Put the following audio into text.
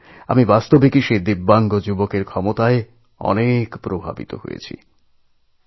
এ কথা মেনে নিতেই হবে এই দিব্যাঙ্গতরুণের ক্ষমতায়আমি অত্যন্ত প্রভাবিত হয়েছি